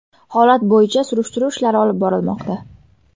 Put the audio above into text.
Holat bo‘yicha surishtiruv ishlari olib borilmoqda.